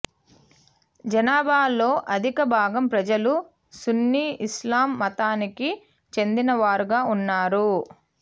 జనాభాలో అధిక భాగం ప్రజలు సున్నీ ఇస్లాం మతానికి చెందిన వారుగా ఉన్నారు